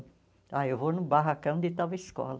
Ah eu vou no barracão de tal escola.